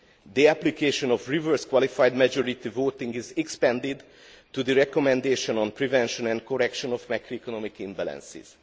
The application of reverse qualified majority voting is expanded to the recommendation on prevention and correction of macroeconomic imbalances.